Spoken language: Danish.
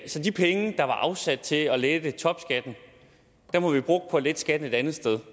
så de penge der var afsat til at lette topskatten har vi brugt på at lette skatten et andet sted